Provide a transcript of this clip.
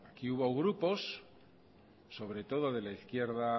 aquí hubo grupos sobre todo de la izquierda